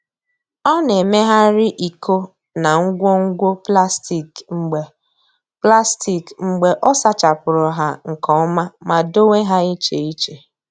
Ọ na-emegharị iko na ngwo ngwo plastik mgbe plastik mgbe ọ sachapụrụ ha nke ọma ma dowe ha iche iche.